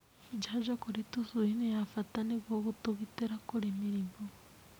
Njanjo kũrĩ tũcui nĩ ya bata nĩguo gũtũgitĩra kũrĩ mĩrimũ.